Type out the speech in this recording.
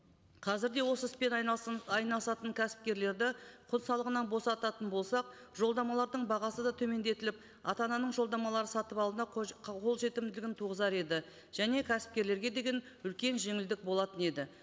қазір де осы іспен айналысатын кәсіпкерлерді құн салығынан босататын болсақ жолдамалардың бағасы да төмендетіліп ата ананың жолдамалар сатып алуына қолжетімділігін туғызар еді және кәсіпкерлерге деген үлкен жеңілдік болатын еді